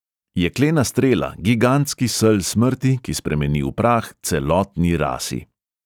Jeklena strela, gigantski sel smrti, ki spremeni v prah celotni rasi.